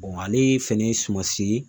ale fɛnɛ ye sumansi ye